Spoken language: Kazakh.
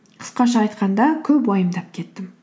қысқаша айтқанда көп уайымдап кеттім